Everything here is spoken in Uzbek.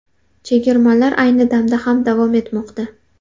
Chegirmalar ayni damda ham davom etmoqda.